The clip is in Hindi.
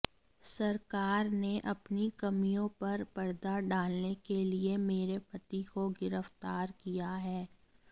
सरकार ने अपनी कमियों पर पर्दा डालने के लिए मेरे पति को गिरफ्तार किया है